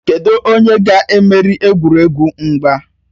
Kedụ onye ga-emeri egwuregwu mgba?